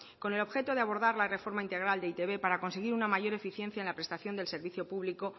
con el objeto de abordar la reforma integral de e i te be para conseguir una mayor eficiencia en la prestación del servicio público